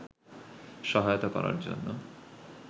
সহায়তা করার জন্য